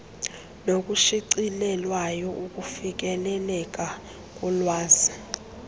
nokushicilelweyo ukufikeleleka kolwazi